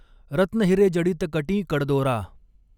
रत्नहिरॆजडित कटीं कडदॊरा.